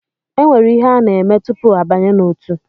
E nwere ihe a na-eme tupu abanye n’otu